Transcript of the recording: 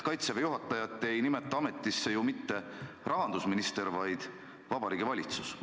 Kaitseväe juhatajat ei nimeta ametisse ju mitte rahandusminister, vaid Vabariigi Valitsus.